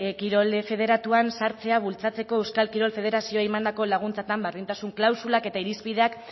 kirol federatuan sartzea bultzatzeko euskal kirol federazioei emandako laguntzetan berdintasun klausulak eta irizpideak